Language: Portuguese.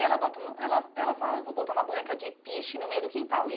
Ela bota hum... Ela ela fala, vou botar uma boneca de piche no meio do quintal e.